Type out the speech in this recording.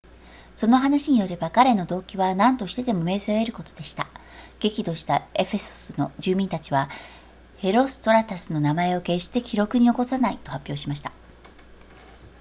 その話によれば彼の動機は何としてでも名声を得ることでした激怒したエフェソスの住民たちはヘロストラタスの名前を決して記録に残さないと発表しました